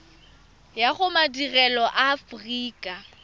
ya go madirelo a aforika